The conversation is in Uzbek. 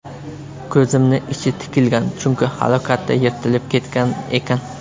Ko‘zimni ichi tikilgan, chunki halokatda yirtilib ketgan ekan.